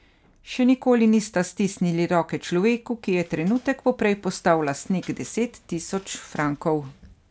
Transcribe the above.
Še nikoli nista stisnili roke človeku, ki je trenutek poprej postal lastnik deset tisoč frankov.